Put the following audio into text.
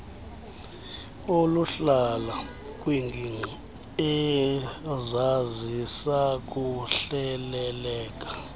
oluhlala kwiingingqi ezazisakuhleleleka